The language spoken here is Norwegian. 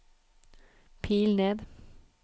pil ned